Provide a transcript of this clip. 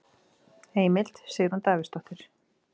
Heimild: Sigrún Davíðsdóttir.